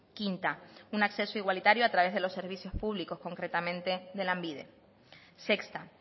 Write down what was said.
quinta un acceso igualitario a través de los servicios públicos concretamente de lanbide sexta